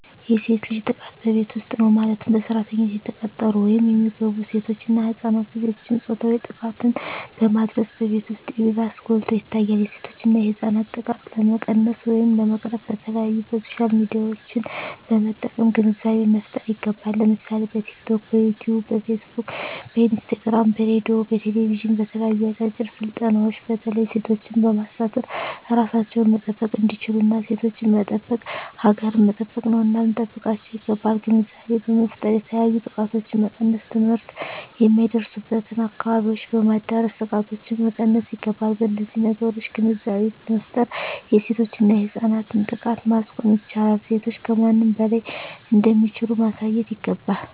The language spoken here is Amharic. የሴት ልጅ ጥቃት በቤት ዉስጥ ነዉ ማለትም በሰራተኛነት የተቀጠሩ ወይም የሚገቡሴቶች እና ህፃናት ልጆችን ፆታዊ ጥቃትን በማድረስ በቤት ዉስጥ ይባስ ጎልቶ ይታያል የሴቶችና የህፃናት ጥቃት ለመቀነስ ወይም ለመቅረፍ በተለያዩ በሶሻል ሚድያዎችን በመጠቀም ግንዛቤ መፍጠር ይገባል ለምሳሌ በቲክቶክ በዮትዮብ በፊስ ቡክ በኢንስታግራም በሬድዮ በቴሌብዥን በተለያዩ አጫጭር ስልጠናዎች በተለይ ሴቶችን በማሳተፍ እራሳቸዉን መጠበቅ እንዲችሉና ሴቶችን መጠበቅ ሀገርን መጠበቅ ነዉና ልንጠብቃቸዉ ይገባል ግንዛቤ በመፍጠር የተለያዮ ጥቃቶችን መቀነስ ትምህርት የማይደርሱበትን አካባቢዎች በማዳረስ ጥቃቶችን መቀነስ ይገባል በነዚህ ነገሮች ግንዛቤ በመፍጠር የሴቶችና የህፃናትን ጥቃት ማስቆም ይቻላል ሴቶች ከማንም በላይ እንደሚችሉ ማሳየት ይገባል